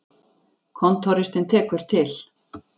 Kontóristinn tekur til.